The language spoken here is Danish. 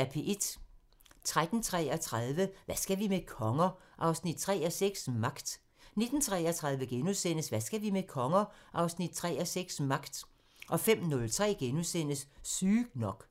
13:33: Hvad skal vi med konger? 3:6 – Magt 19:33: Hvad skal vi med konger? 3:6 – Magt * 05:03: Sygt nok *